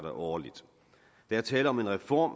årligt der er tale om en reform